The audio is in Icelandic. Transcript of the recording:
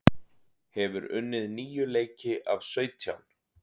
Hefur unnið níu leiki af sautján